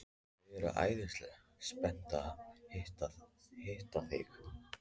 Þau eru æðislega spennt að hitta þig.